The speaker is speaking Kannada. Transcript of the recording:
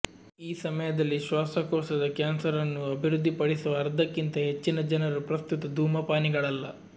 ಈ ಸಮಯದಲ್ಲಿ ಶ್ವಾಸಕೋಶದ ಕ್ಯಾನ್ಸರ್ನ್ನು ಅಭಿವೃದ್ಧಿಪಡಿಸುವ ಅರ್ಧಕ್ಕಿಂತ ಹೆಚ್ಚಿನ ಜನರು ಪ್ರಸ್ತುತ ಧೂಮಪಾನಿಗಳಲ್ಲ